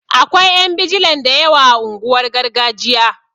Akwai ƴan bijilan da yawa a unguwar gargajiya